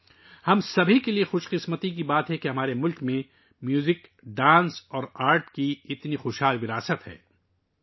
یہ ہم سب کے لئے خوش قسمتی کی بات ہے کہ ہمارے ملک میں موسیقی، رقص اور فن کا اتنا بھرپور ورثہ موجود ہے